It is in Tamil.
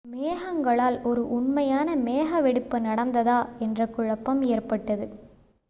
மேகங்களால் ஒரு உண்மையான மேக வெடிப்பு நடந்ததா என்ற குழப்பம் ஏற்பட்டது